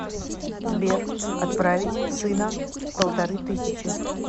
сбер отправить сына полторы тысячи